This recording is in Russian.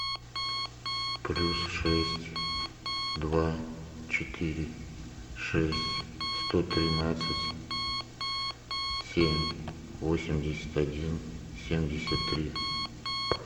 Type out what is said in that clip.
плюс шесть два четыре шесть сто тринадцать семь восемьдесят один семьдесят три